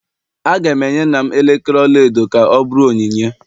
Aga m enye nna m elekere ọla edo ka ọ bụrụ onyinye